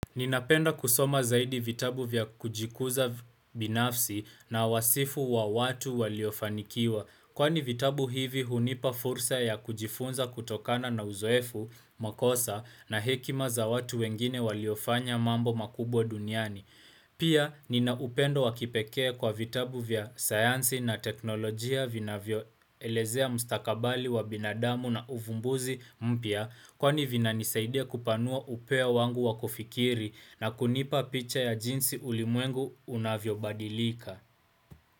Ninapenda kusoma zaidi vitabu vya kujikuza binafsi na wasifu wa watu waliofanikiwa. Kwani vitabu hivi hunipa fursa ya kujifunza kutokana na uzoefu, makosa, na hekima za watu wengine waliofanya mambo makubwa duniani. Pia, ninaupendo wakipekee kwa vitabu vya sayansi na teknolojia vinavyo elezea mstakabali wa binadamu na uvumbuzi mpya kwani vina nisaidia kupanua upea wangu wakufikiri na kunipa picha ya jinsi ulimwengu unavyo badilika.